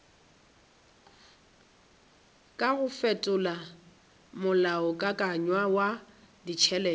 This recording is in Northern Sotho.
kago fetola molaokakanywa wa ditšhelete